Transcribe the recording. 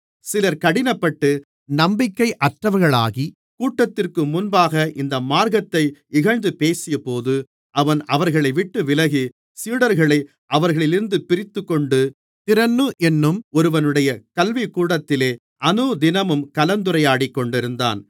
சிலர் கடினப்பட்டு நம்பிக்கையற்றவர்களாகிக் கூட்டத்திற்கு முன்பாக இந்த மார்க்கத்தை இகழ்ந்து பேசியபோது அவன் அவர்களைவிட்டு விலகி சீடர்களை அவர்களிலிருந்து பிரித்துக்கொண்டு திறன்னு என்னும் ஒருவனுடைய கல்விக்கூடத்திலே அநுதினமும் கலந்துரையாடிக்கொண்டிருந்தான்